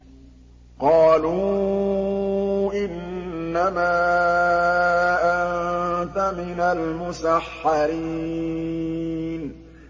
قَالُوا إِنَّمَا أَنتَ مِنَ الْمُسَحَّرِينَ